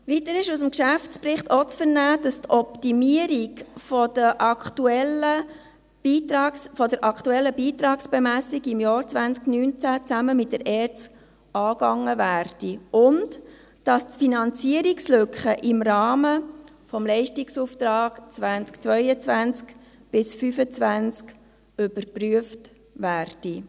Weiter ist aus dem Geschäftsbericht auch zu vernehmen, dass die Optimierung der aktuellen Beitragsbemessung im Jahr 2019 zusammen mit der ERZ angegangen und dass die Finanzierungslücke im Rahmen des Leistungsauftrags 2022–2025 überprüft wird.